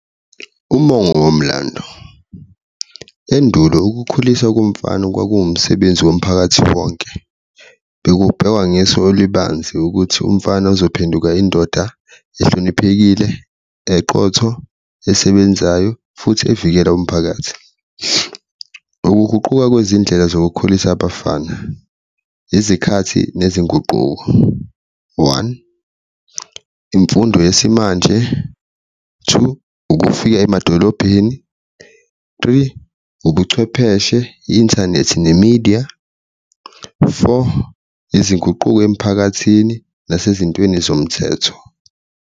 Umongo womlando, endulo ukukhulisa komfana kwakumsebenzi womphakathi wonke, bekubheka ngeso olubanzi ukuthi umfana uzophenduka indoda ehloniphekile eqotho, esebenzayo futhi evikela umphakathi. Ukuguquka kwezindlela zokukhulisa abafana izikhathi nezinguquko one, imfundo yesimanje, two, ukufika emadolobheni, three, ubuchwepheshe, inthanethi nemidiya, four, izinguquko emphakathini nasezintweni zomthetho.